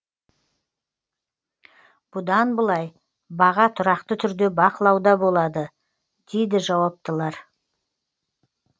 бұдан былай баға тұрақты түрде бақылауда болады дейді жауаптылар